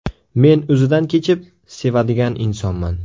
Men o‘zidan kechib, sevadigan insonman.